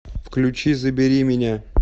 включи забери меня